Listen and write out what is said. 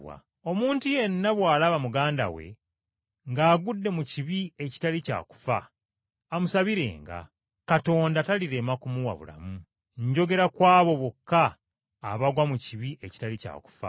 Omuntu yenna bw’alaba muganda we ng’agudde mu kibi ekitali kya kufa, amusabirenga, Katonda talirema kumuwa bulamu. Njogera ku abo bokka abagwa mu kibi ekitali kya kufa.